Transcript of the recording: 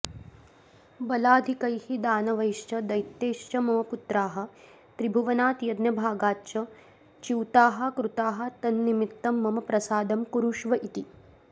बलाधिकैः दानवैश्च दैत्यैश्च मम पुत्राः त्रिभुवनात् यज्ञभागाच्च च्युताः कृताः तन्निमित्तं मम प्रसादं कुरुष्व इति